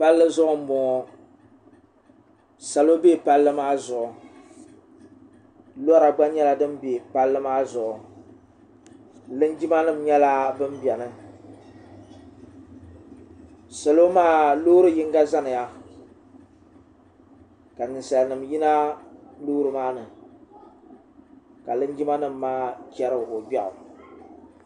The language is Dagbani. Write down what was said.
palli zuɣu n boŋo salo bɛ palli maa zuɣu lora gba nyɛla din bɛ palli maa zuɣu linjima nim nyɛla bin biɛni salo maa loori yinga zaniya ka ninsal nim yina loori nim maa ni ka linjima nim maa chɛro gbiɣu